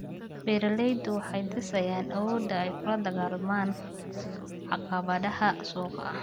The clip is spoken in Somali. Beeraleydu waxay dhisayaan awoodda ay kula dagaallamaan caqabadaha suuqa.